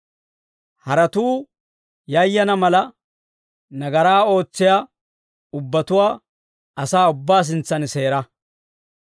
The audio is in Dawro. Haratuu yayana mala, nagaraa ootsiyaa ubbatuwaa asaa ubbaa sintsan seera.